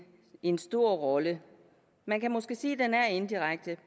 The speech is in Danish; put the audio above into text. en stor rolle man kan måske sige at det er indirekte